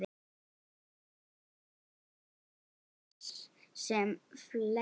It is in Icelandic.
Ég naut þess sem fleiri.